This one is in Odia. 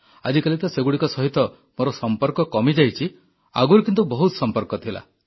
ଆଜିକାଲି ତ ସେଗୁଡ଼ିକ ସହିତ ମୋର ସମ୍ପର୍କ କମିଯାଇଛି ଆଗରୁ କିନ୍ତୁ ବହୁତ ସମ୍ପର୍କ ଥିଲା